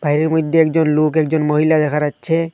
বাইরের মইধ্যে একজন লোক একজন মহিলা দেখা যাচ্ছে।